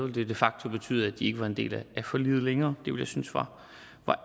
det de facto betyde at de ikke var en del af forliget længere det ville jeg synes var